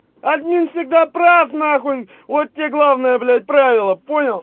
админ всегда прав нахуй вот тебе главное блять правило понял